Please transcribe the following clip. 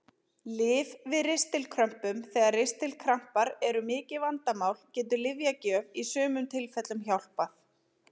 Lyf við ristilkrömpum Þegar ristilkrampar eru mikið vandamál getur lyfjagjöf í sumum tilfellum hjálpað.